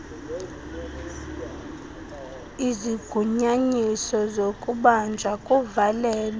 izigunyanyiso zokubanjwa kuvalelwe